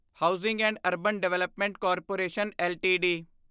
housing and urban development corporation LTD